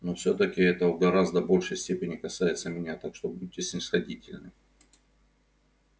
но всё-таки это в гораздо большей степени касается меня так что будьте снисходительны